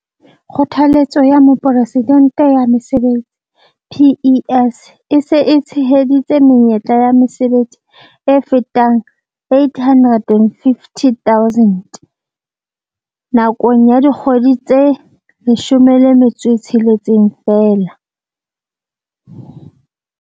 Kgothaletso ya Mopresidente ya Mesebetsi PES e se e tsheheditse menyetla ya mesebetsi e fetang 850 000 nakong ya dikgwedi tse 16 feela.